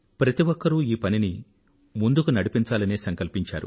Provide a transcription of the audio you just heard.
ప్రతి ఒక్కరూ ఈ పనిని ముందుకు నడిపించాలనే సంకల్పించారు